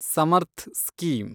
Samarth scheme